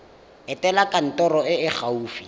etela kantoro e e gaufi